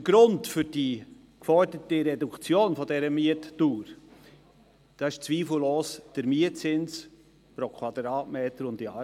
Der Grund für die geforderte Reduktion dieser Mietdauer ist aber zweifellos der Mietzins pro Quadratmeter und Jahr.